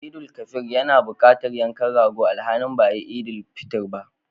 Eidul Kabir yana buƙatar yankan rago alhalin ba a yi Idil fitr ba.